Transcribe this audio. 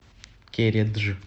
кередж